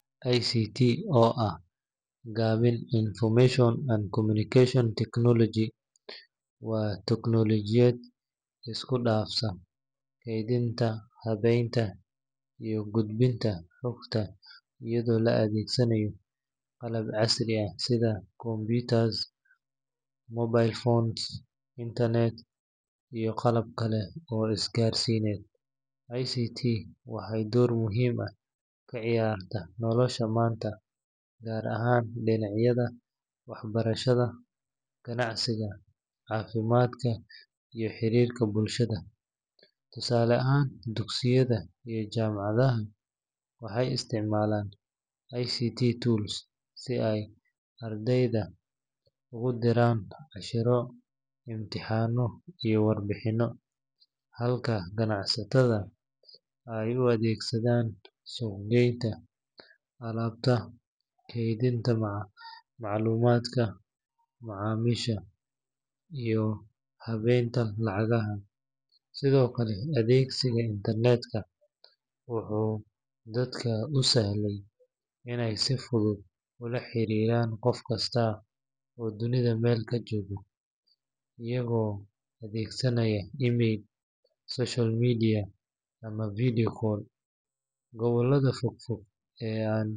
ICT, oo ah gaabinta Information and Communication Technology, waa teknoolajiyad isku dhafaysa kaydinta, habaynta, iyo gudbinta xogta iyadoo la adeegsanayo qalab casri ah sida computers, mobile phones, internet, iyo qalab kale oo isgaarsiineed. ICT waxay door muhiim ah ka ciyaartaa nolosha maanta, gaar ahaan dhinacyada waxbarashada, ganacsiga, caafimaadka, iyo xiriirka bulshada. Tusaale ahaan, dugsiyada iyo jaamacadaha waxay isticmaalaan ICT tools si ay ardayda ugu diraan casharro, imtixaano, iyo warbixinno, halka ganacsatada ay ugu adeegsadaan suuq-geynta alaabta, kaydinta macluumaadka macaamiisha, iyo habeynta lacagaha. Sidoo kale, adeegsiga internet-ka wuxuu dadka u sahlay in ay si fudud ula xiriiraan qof kasta oo dunida meel ka jooga, iyagoo adeegsanaya email, social media, ama video calls. Gobollada fog fog.